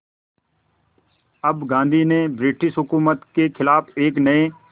अब गांधी ने ब्रिटिश हुकूमत के ख़िलाफ़ एक नये